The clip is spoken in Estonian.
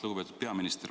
Lugupeetud peaminister!